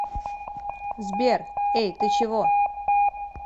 сбер эй ты чего